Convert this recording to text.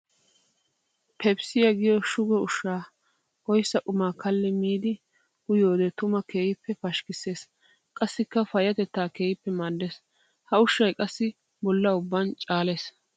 Pepsiya giyo shugo ushsha oyssa quma kalli miidi uyiyoode tuma keehippe pashkkisses qassikka payatetta keehippe maades. Ha ushshay qassi bolla ubban caales.